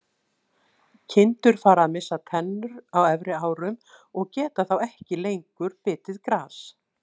Kindur fara að missa tennur á efri árum og geta þá ekki lengur bitið gras.